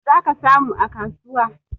Zaka samu a kasuwa